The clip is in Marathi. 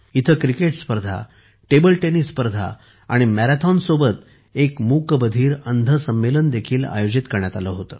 येथे क्रिकेट स्पर्धा टेबल टेनिस स्पर्धा व मॅरेथॉनसोबतच एक मूकबधिरअंध संमेलनही आयोजित करण्यात आले होते